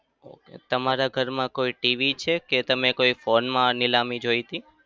તમારા ઘરમાં કોઈ TV છે કે તમે કોઈ phone માં આ નીલામી જોઈ હતી?